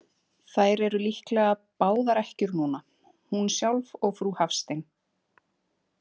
Þær eru líklega báðar ekkjur núna, hún sjálf og frú Hafstein.